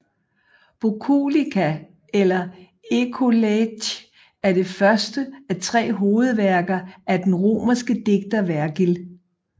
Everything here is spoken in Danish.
Boculica eller Ecolage er det første af tre hovedværker af den romerske digter Vergil